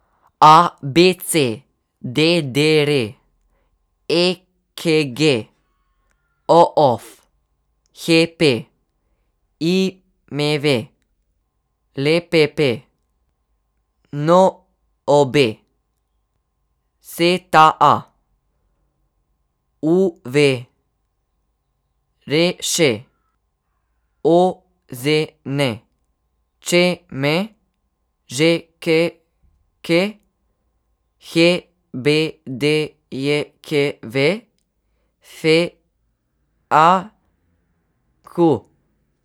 A B C; D D R; E K G; O F; H P; I M V; L P P; N O B; S T A; U V; R Š; O Z N; Č M; Ž K K; H B D J K V; F A Q.